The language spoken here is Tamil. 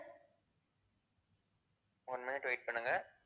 one minute wait பண்ணுங்க.